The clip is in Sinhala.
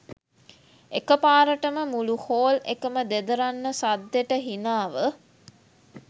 එකපාරටම මුළු හෝල් එකම දෙදරන්න සද්දෙට හිනාව